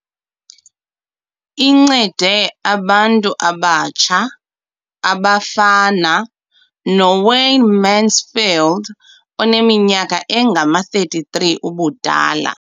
Incede abantu abatsha abafana noWayne Mansfield oneminyaka engama-33 ubudala.